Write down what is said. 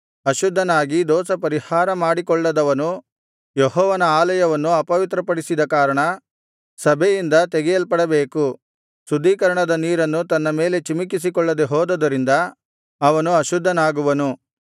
ಅಶುದ್ಧನಾಗಿ ದೋಷಪರಿಹಾರ ಮಾಡಿಕೊಳ್ಳದವನು ಯೆಹೋವನ ಆಲಯವನ್ನು ಅಪವಿತ್ರಪಡಿಸಿದ ಕಾರಣ ಸಭೆಯಿಂದ ತೆಗೆಯಲ್ಪಡಬೇಕು ಶುದ್ಧೀಕರಣದ ನೀರನ್ನು ತನ್ನ ಮೇಲೆ ಚಿಮಿಕಿಸಿಕೊಳ್ಳದೆ ಹೋದುದರಿಂದ ಅವನು ಅಶುದ್ಧನಾಗುವನು